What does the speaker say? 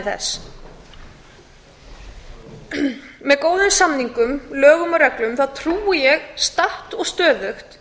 þess með góðum samningum lögum og reglum þá trúi ég statt og stöðugt